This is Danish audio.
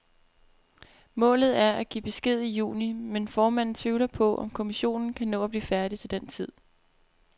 Målet er at give besked i juni, men formanden tvivler på, om kommissionen kan nå at blive færdig til den tid.